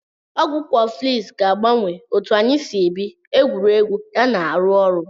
Ọgwụ kọflx ga-agbanwe otu anyị si ebi, egwuregwu ya na arụ ọrụ.